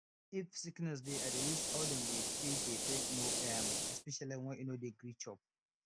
if sickness dey i dey use how dem dey feed dey take know um especially when e no dey gree chop